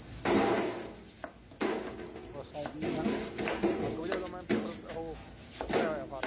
ਅੱਗ ਬੁਝਾਉ ਦਾ ਮੈਂ paper ਉਹ ਭਰਿਆ ਹੋਇਆ form ।